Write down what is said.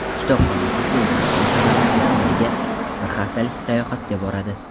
Kitobxon o‘quvchi O‘zbekiston shaharlaridan biriga bir haftalik sayohatga boradi.